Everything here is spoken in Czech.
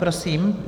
Prosím.